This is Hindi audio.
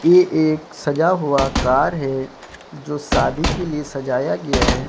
ये एक सजा हुआ कार है जो शादी के लिए सजाया गया है।